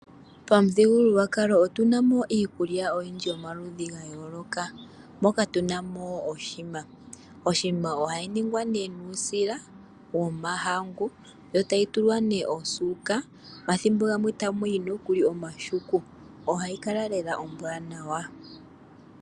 Pamuthigululwakalo otuna mo iikulya yomaludhi gaayooloka, moka tuna mo oshikwiila. Oshikwiila ohashi ningwa nee nuusila womahangu, sho tashi tulwa nee osuuka, nomathimbo gamwe ta muyi woo nokuli omahuku. Ohashi kala lela oshiwanawa.